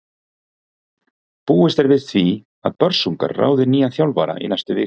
Búist er við því að Börsungar ráði nýjan þjálfara í næstu viku.